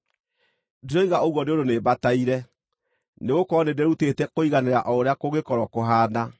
Ndiroiga ũguo nĩ ũndũ nĩmbataire, nĩgũkorwo nĩndĩrutĩte kũiganĩra o ũrĩa kũngĩkorwo kũhaana.